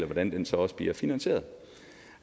hvordan den så også bliver finansieret